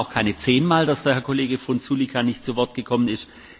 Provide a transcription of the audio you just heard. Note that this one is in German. Es waren auch keine zehn Mal, dass der Herr Kollege Frunzulică nicht zu Wort gekommen ist.